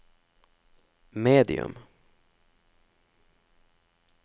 medium